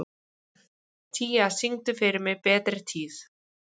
Tía, syngdu fyrir mig „Betri tíð“.